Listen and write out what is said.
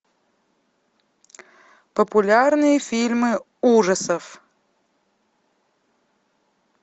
популярные фильмы ужасов